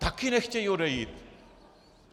Taky nechtějí odejít.